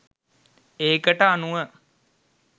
ඒකට අනුව